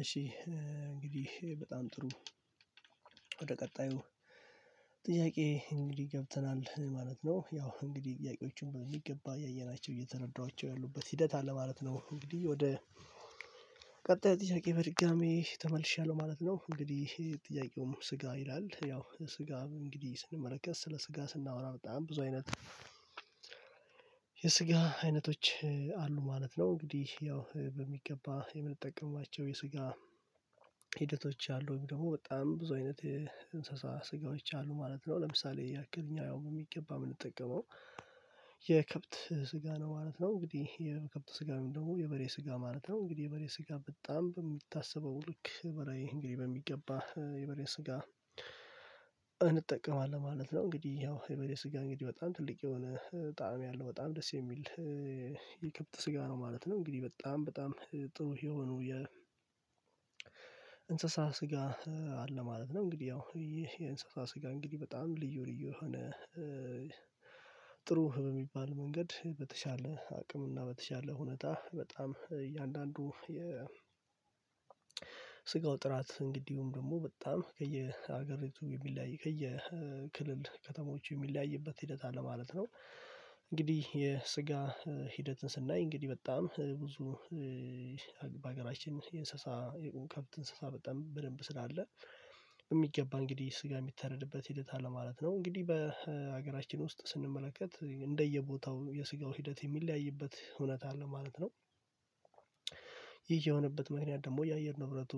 እሺ እንግዲህ በጣም ጥሩ። ወደ ቀጣዩ ጥያቄ እንግዲህ ገብተናል ማለት ነው። ያው እንግዲህ ጥያቄዎችን በሚገባ ያየናቸው እየተረዳኋቸው ያሉበት ሂደት አለ ማለት ነው። እንግዲህ ወደ ቀጥታ ጥያቄ በድጋሚ ተመልሻለሁ ማለት ነው። እንግዲህ ይሄ ጥያቄው ስጋ ይላል ያው ስጋ እንግዲህ ስንመለከት ስለ ስጋ ስናወራ በጣም ብዙ አይነት የስጋ አይነቶች አሉ ማለት ነው። እንግዲህ ያው በሚገባ የምንጠቀማቸው የስጋ ሂደቶች አሉኝ ደግሞ በጣም ብዙ አይነት እንስሳ ስጋዎች አሉ ማለት ነው። ለምሳሌ የአገርኛ ያው ነው የሚገባ የምንጠቀመው የከብት ስጋ ነው ማለት ነው። እንግዲህ የከብት ስጋ ደግሞ የበሬ ስጋ ማለት ነው እንግዲህ የበሬ ስጋ በጣም በሚታሰበው ልክ በሬ እንግዲህ በሚገባ የበሬ ስጋ እንጠቀማለን ማለት ነው። እንግዲህ ያው የበሬ ስጋ እንግዲህ በጣም ትልቅ የሆነ ጣዕም ያለው በጣም ደስ የሚል የከብት ስጋ ነው ማለት ነው። እንግዲህ በጣም በጣም ጥሩ የሆነው የ እንስሳ ስጋ አለ ማለት ነው። እንግዲህ ያው ይህ የእንስሳ ስጋ እንግዲህ በጣም ልዩ ልዩ የሆነ ጥሩ በሚባል መንገድ በተሻለ አቅም እና በተሻለ ሁኔታ በጣም እያንዳንዱ የ ስጋው ጥራት እንግዲሁም ደግሞ በጣም ከየሀገሪቱ የሚለያይ ከየክልል ከተሞች የሚለያይበት ሂደት አለ ማለት ነው። እንግዲህ የስጋ ሂደትን ስናይ እንግዲህ በጣም ብዙ በሀገራችን የእንስሳ የከብት እንስሳ በጣም በደንብ ስላለ በሚገባ እንግዲህ ስጋ የሚተረድበት ሂደት አለ ማለት ነው። እንግዲህ በሀገራችን ውስጥ ስንመለከት እንደየቦታው የስጋው ሂደት የሚለያይበት እውነት አለ ማለት ነው። ይሄ የሆነበት ምክንያት ደግሞ የአየር ንብረቱ